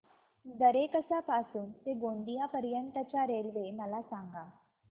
दरेकसा पासून ते गोंदिया पर्यंत च्या रेल्वे मला सांगा